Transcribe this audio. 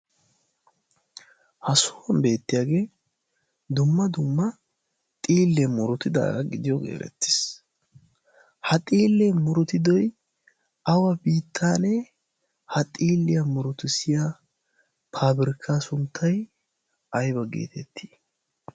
ha souwan beettiyage dumma dumma xiile murutidaaga gididooge erettees. ha xiile murutidooge awa biittane? ha xiiliya murutissiya paabirkka sunttay oona getetti?